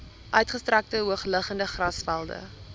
uitgestrekte hoogliggende grasvelde